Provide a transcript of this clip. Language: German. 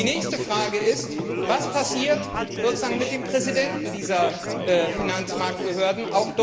Die nächste Frage ist Was passiert mit dem Präsidenten dieser Finanzmarktbehörden?